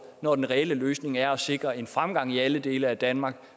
når den reelle løsning er at sikre en fremgang i alle dele af danmark